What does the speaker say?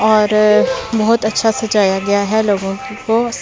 और बहुत अच्छा सजाया गया है लोगों को --